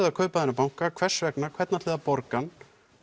að kaupa þennan banka hvers vegna hvernig ætliði að borga hann